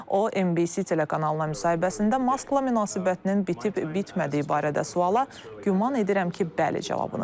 O, NBC telekanalına müsahibəsində Maskla münasibətinin bitib-bitmədiyi barədə suala "Güman edirəm ki, bəli" cavabını verib.